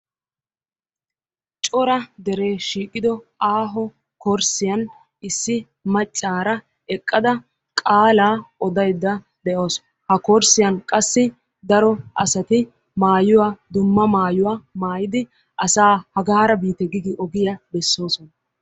Cora deree shiiqido aaho korssiyan issi maccaara eqqada qaalaa odayidda de"awus.ha korssiyan qassi daro asati maayuwa dumma maayuwa maayidi asaa hagaara biite gi gi ogiya besoosona.